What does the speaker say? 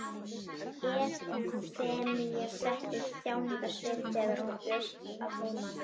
Efemía setti upp þjáningarsvip þegar hann bjóst að heiman.